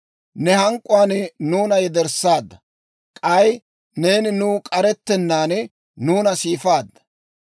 Ne hank'k'uwaan nuuna yederssaadda; k'ay neeni nuw k'arettennaan nuuna siifaadda.